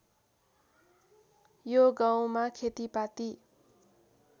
यो गाउँमा खेतीपाती